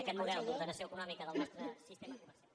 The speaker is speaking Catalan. aquest model d’ordenació econòmica del nostre sistema comercial